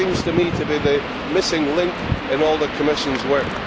That seems to me to be the missing link in all the Commission's work.